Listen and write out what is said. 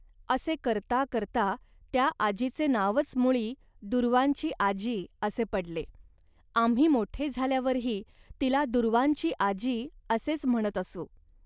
असे करता करता त्या आजीचे नावच मुळी 'दूर्वांची आजी' असे पडले. आम्ही मोठे झाल्यावरही तिला दूर्वांची आजी असेच म्हणत असू